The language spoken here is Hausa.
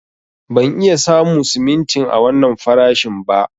Ban iya samu simintin a wannan farashin ba.